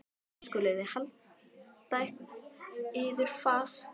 Og nú skuluð þér halda yður fast